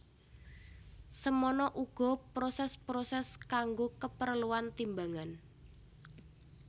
Semana uga proses proses kanggo keperluan timbangan